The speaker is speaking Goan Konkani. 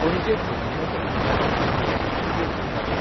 पणजेंत घेतिल्ले पत्रकार परिशदेंत त्यो उलयताल्यो.